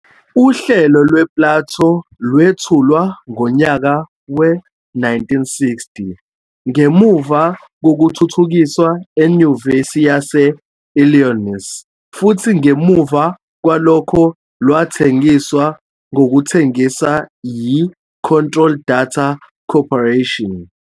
Uhlelo lwe-PLATO lwethulwa ngonyaka we-1960, ngemuva kokuthuthukiswa eNyuvesi yase-Illinois futhi ngemuva kwalokho lwathengiswa ngokuthengisa yi-Control Data Corporation.